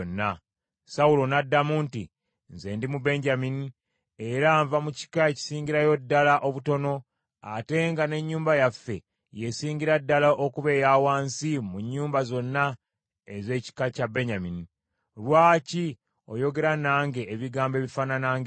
Sawulo n’addamu nti, “Nze ndi Mubenyamini, era nva mu kika ekisingirayo ddala obutono, ate nga n’ennyumba yaffe y’esingira ddala okuba eya wansi mu nnyumba zonna ez’ekika kya Benyamini. Lwaki oyogera nange ebigambo ebifaanana ng’ebyo?”